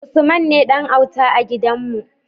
Usman ne Dan auta a gidan mu